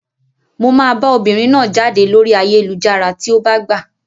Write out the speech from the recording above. Mo máa bá obìnrin náà jáde lórí ayélujára tí ó bá gbà.